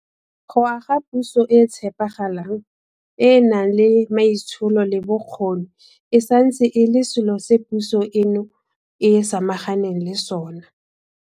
Go aga puso e e tshepagalang, e e nang le maitsholo le bokgoni e santse e le selo se puso eno e samaganeng le sona.